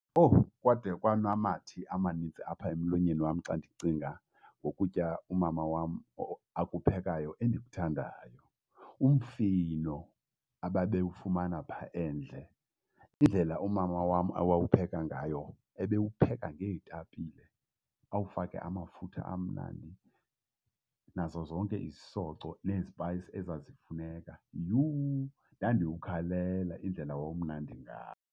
Owu! Kwade kwanamathe amanintsi apha emlonyeni wam xa ndicinga ngokutya umama wam akuphekayo endikuthandayo, umfino ababewufumana phaa endle. Indlela umama wam awawupheka ngayo ebewupheka ngeetapile, awufake amafutha amnandi nazo zonke izisoco nezipayisi ezazifuneka. Yhuu, ndandiwukhalela indlela wawumnandi ngayo.